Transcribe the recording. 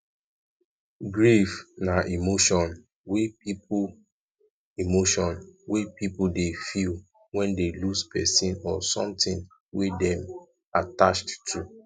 grief na emotion wey pipo emotion wey pipo dey feel when dey lose person or something wey dem attached to